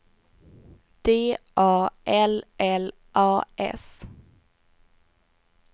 D A L L A S